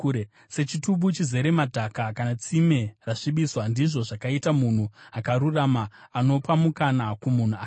Sechitubu chizere madhaka kana tsime rasvibiswa, ndizvo zvakaita munhu akarurama anopa mukana kumunhu akaipa.